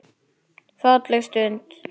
Falleg stund.